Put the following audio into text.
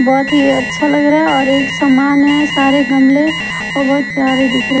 बहुत ही अच्छा लग रहा है और एक सामान है सारे गमले और बहुत प्यारे दिख रहे।